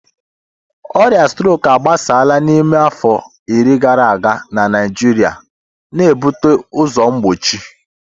Ọrịa strok agbasala n'ime afọ iri gara aga na Naịjirịa, na-ebute ụzọ mgbochi.